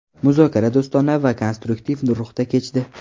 Muzokara do‘stona va konstruktiv ruhda kechdi.